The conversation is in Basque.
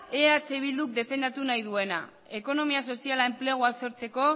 eh bilduk defendatu nahi duena ekonomia soziala enplegua sortzeko